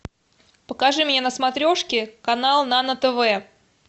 покажи мне на смотрешке канал нано тв